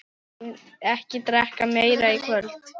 Ekki drekka meira í kvöld.